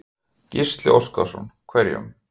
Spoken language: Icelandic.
Gísli Óskarsson: Hverjum?